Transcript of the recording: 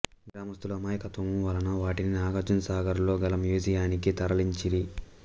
గ్రామస్తుల అమాయకత్వము వలన వాటిని నాగార్జున సాగర్ లో గల మ్యూజియానికి తరలించిరి